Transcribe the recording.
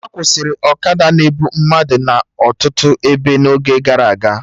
A kwụsịrị ọkada na-ebu mmadụ na ọtụtụ ebe n'oge gara aga